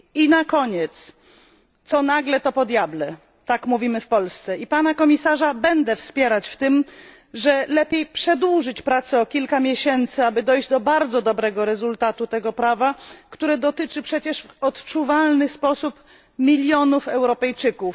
I na koniec trzeba stwierdzić, że co nagle to po diable tak mówimy w Polsce i Pana Komisarza będę wspierać w tym, że lepiej przedłużyć pracę o kilka miesięcy, aby dojść do bardzo dobrego rezultatu w postaci tego aktu prawnego, który dotyczy przecież w odczuwalny sposób milionów Europejczyków.